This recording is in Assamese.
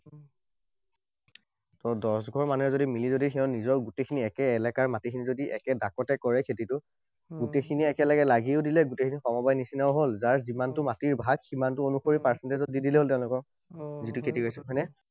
ত দহঘৰ মানে যদি মিলি যদি সেই নিজৰ গোটেইখিনি একে এলেকাৰ মাটিখিনি যদি একে ঢাপতে কৰে খেতিটো। গোটেইখিনিয়ে একেলগে লাগিও দিলে, গোটেইখিনি সমবায় নিচিনাও হল, যাৰ যিমানটো মাটিৰ ভাগ, সিমানটো অনুসৰি percentage ত দি দিলেই হল তেওঁলোকক।